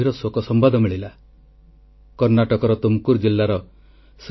• ଓଡ଼ିଶାର ବିଶ୍ୱବିଦ୍ୟାଳୟ ଛାତ୍ରଛାତ୍ରୀଙ୍କ ସାଉଣ୍ଡିଂ ରକେଟ୍ ଟେକ୍ନୋଲଜି ନୂତନ ଅଧ୍ୟାୟ ସୃଷ୍ଟି କରିଛି